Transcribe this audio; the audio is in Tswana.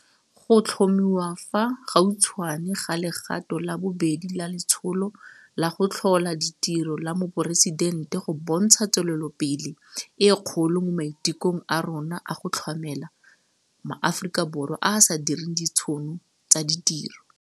Go tlhomiwa fa gautshwane ga legato la bobedi la Letsholo la go Tlhola Ditiro la Moporesidente go bontsha tswelelopele e kgolo mo maitekong a rona a go tlhamela ma Aforika Borwa a a sa direng ditšhono tsa ditiro.